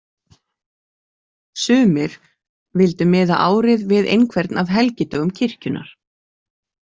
Sumir vildu miða árið við einhvern af helgidögum kirkjunnar.